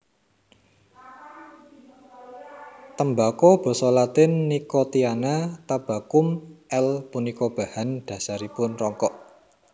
Tembako basa Latin Nicotiana tabacum L punika bahan dhasaripun rokok